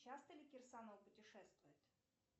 часто ли кирсанова путешествует